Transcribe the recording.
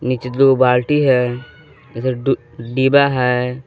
नीचे दो बाल्टी है इधर दु डिबा है।